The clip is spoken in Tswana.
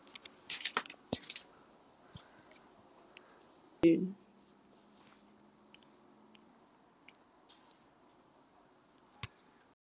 Ke .